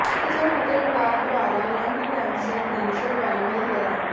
ਕਿਸਮ ਅਤੇ ਪੜਾਅ ਦੁਆਰਾ ਲੰਗ ਕੈਂਸਰ ਦੀ ਸਰਵਾਈਵਲ ਦਰਾਂ